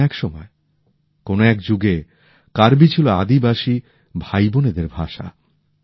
কোন এক সময় কোন এক যুগে কার্বি ছিল আদিবাসী ভাইবোনেদের ভাষা